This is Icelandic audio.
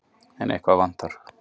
En eitthvað vantar.